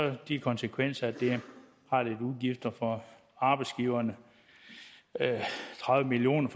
de konsekvenser at der er lidt udgifter for arbejdsgiverne tredive million